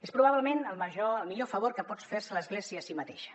és probablement el millor favor que pot fer se l’església a si mateixa